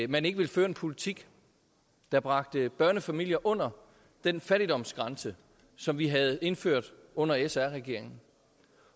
man ikke ville føre en politik der bragte børnefamilier under den fattigdomsgrænse som vi havde indført under sr regeringen